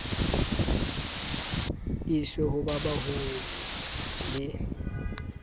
iswe ho ba baholo le